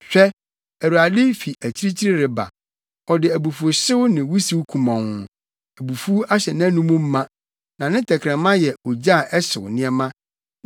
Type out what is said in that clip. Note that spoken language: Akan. Hwɛ! Awurade fi akyirikyiri reba, ɔde abufuwhyew ne wusiw kumɔnn; abufuw ahyɛ nʼanom ma, na ne tɛkrɛma yɛ ogya a ɛhyew nneɛma.